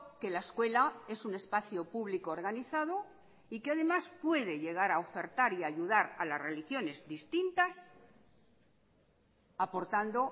que la escuela es un espacio público organizado y que además puede llegar a ofertar y ayudar a las religiones distintas aportando